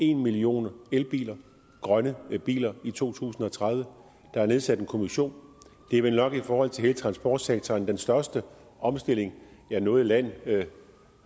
en million elbiler grønne biler i to tusind og tredive og der er nedsat en kommission det er vel nok i forhold til hele transportsektoren den største omstilling noget land